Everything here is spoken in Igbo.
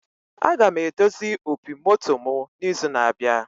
Aga m edozi opi moto mụ na izu na abịa